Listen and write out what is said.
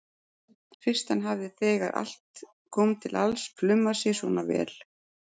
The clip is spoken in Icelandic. Fyrst hann hafði þegar allt kom til alls plumað sig svona vel.